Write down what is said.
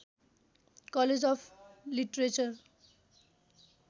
college of literature